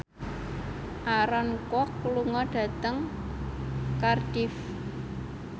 Aaron Kwok lunga dhateng Cardiff